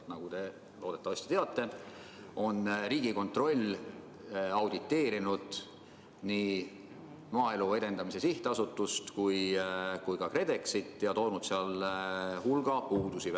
Nagu te loodetavasti teate, on Riigikontroll auditeerinud nii Maaelu Edendamise Sihtasutust kui ka KredExit ja toonud seal välja hulga puudusi.